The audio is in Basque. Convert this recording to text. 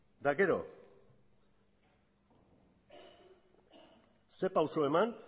eta gero ze pausu eman